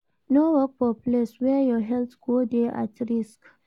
No work for place where your health go de at risk